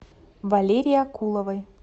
валерии акуловой